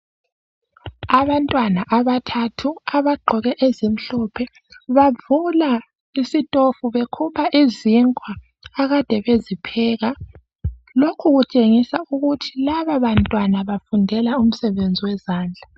Abantwana abathathu abagqoke ezimhlophe bavula isitofu bekhupha izinkwa akade bezipheka, lokhu kutshengisa ukuthi laba bantwana bafundela umsebenzi wezandla.